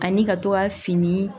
Ani ka to ka fini